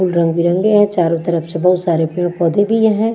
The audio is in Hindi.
फूल रंग-बिरंगें है चारों तरफ से बहुत सारे पेड़-पौधे भी हैं।